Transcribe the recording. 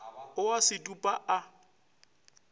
o a se dupa a